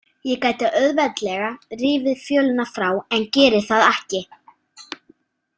Ég gæti auðveldlega rifið fjölina frá en geri það ekki.